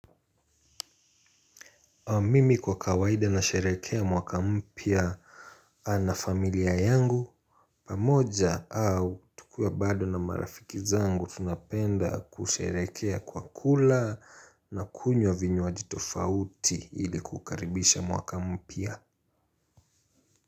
Mimi kwa kawaida nasherekea mwaka mpia na familia yangu, pamoja au tukiwa bado na marafiki zangu tunapenda kusherekea kwa kula na kunywa vinyowaji tofauti ili kukaribisha mwaka mpia.